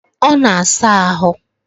Ọ na saa ahụ